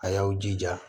A y'aw jija